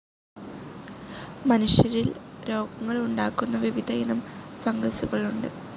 മനുഷ്യരിൽ രോഗങ്ങൾ ഉണ്ടാക്കുന്ന വിവിധ ഇനം ഫംഗസുകൾ ഉണ്ട്.